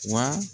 Wa